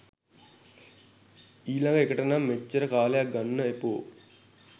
ඊලග එකටනම් මෙච්චර කාලයක් ගන්න එපෝ.